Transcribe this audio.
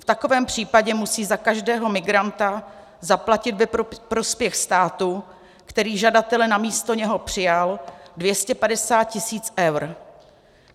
V takovém případě musí za každého migranta zaplatit ve prospěch státu, který žadatele na místo něho přijal, 250 tisíc eur.